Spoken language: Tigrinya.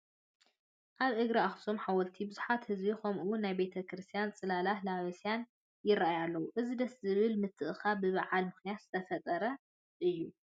ኣብ እግሪ ኣኽሱም ሓወልቲ ብዙሕ ህዝቢ ከምኡውን ናይ ቤተ ክርስቲያን ፅላላትን ለባስያንን ይርአዩ ኣለዉ፡፡ እዚ ደስ ዝብል ምትእኽኻብ ብበዓል ምኽንያት ዝተፈጠረ እዩ፡፡